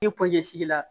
I pɔnsigi la